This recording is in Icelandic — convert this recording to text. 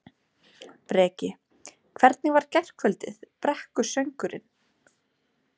Breki: Hvernig var gærkvöldið, brekkusöngurinn?